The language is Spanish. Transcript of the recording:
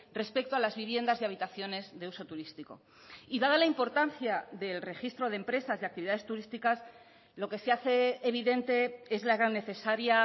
respecto a las viviendas y habitaciones de uso turístico y dada la importancia del registro de empresas de actividades turísticas lo que se hace evidente es la gran necesaria